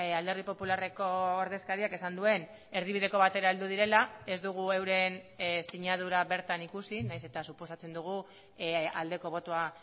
alderdi popularreko ordezkariak esan duen erdibideko batera heldu direla ez dugu euren sinadura bertan ikusi nahiz eta suposatzen dugu aldeko botoa